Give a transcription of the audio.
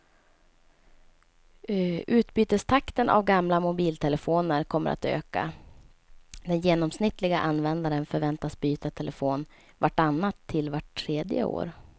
Utbytestakten av gamla mobiltelefoner kommer att öka, den genomsnittliga användaren förväntas byta telefon vart annat till vart tredje år.